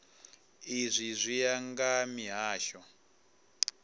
izwi zwi ya nga mihasho